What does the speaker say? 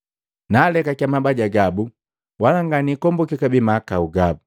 Naalekakiya mabaja gabu, wala nganikomboki kabee mahakau gabu.”